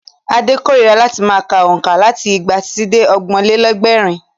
Ade kórira láti ma ka òǹkà láti igba títí dé ọgbọ̀n-lé-lẹ́gbẹ̀rún?